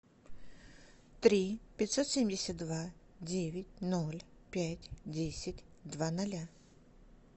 три пятьсот семьдесят два девять ноль пять десять два ноля